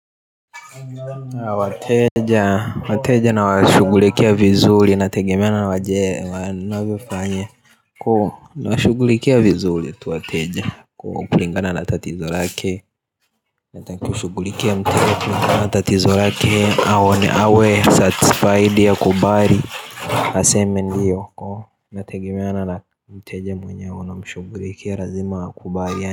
Na wateja nawashughulikia vizuri inategemea na wanavyofanya, nawashughulikia vizuri tu wateja, kulingana na tatizo lake. Nataka kushughulikia mteja na tatizo lake awe satisfied au kubali. Aseme ndiyo ko inategemeana na mteja mwenye unamshughulikia lazima akubali.